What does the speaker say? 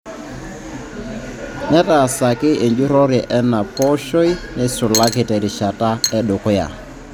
Netaasaki enjurrore ena pooshoi neisulaki terishata edukuya.